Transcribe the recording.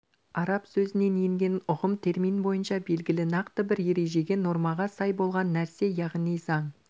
араб сөзінен енген ұғым термин бойынша белгілі нақты бір ережеге нормаға сай болған нәрсе яғни заң